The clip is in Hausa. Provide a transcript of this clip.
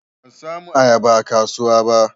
Ban samu ayaba a kasuwa ba.